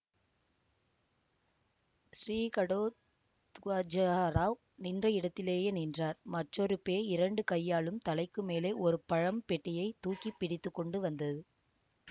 ஸ்ரீ கடோ த்கஜராவ் நின்ற இடத்திலேயே நின்றார் மற்றொரு பேய் இரண்டு கையாலும் தலைக்கு மேலே ஒரு பழம் பெட்டியை தூக்கி பிடித்து கொண்டு வந்தது